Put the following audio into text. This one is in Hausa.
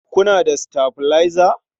Kuna da sitabilaiza?